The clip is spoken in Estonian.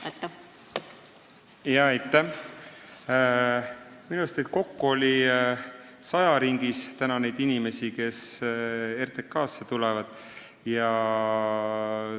Minu meelest on neid inimesi kokku saja ringis, kes tulevad RTK-sse.